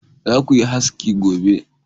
Za ku yi haski gobe!